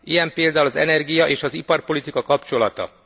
Ilyen például az energia és az iparpolitika kapcsolata.